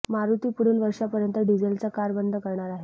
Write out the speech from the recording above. मारुती पुढील वर्षा पर्यंत डिझेलच्या कार बंद करणार आहे